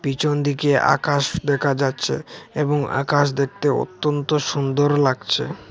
পিছন দিকে আকাশ দেখা যাচ্ছে এবং আকাশ দেখতে অত্যন্ত সুন্দর লাগছে।